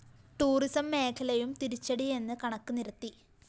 tourism മേഖലയും തിരിച്ചടിയെന്ന് കണക്ക് നിരത്തി